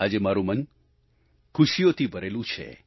આજે મારું મન ખુશીઓથી ભરેલું છે